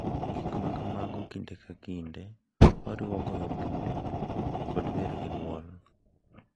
Gik ma kamago kinde ka kinde oriwo goyo bul kod wer gi dwol.